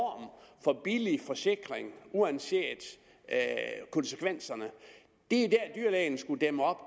billig forsikring uanset konsekvenserne det er det dyrlægen skulle dæmme op